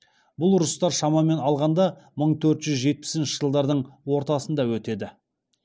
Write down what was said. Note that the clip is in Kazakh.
бұл ұрыстар шамамен алғанда мың төрт жүз жетпісінші жылдардың ортасында өтеді